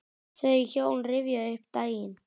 Þau hjón rifja upp daginn.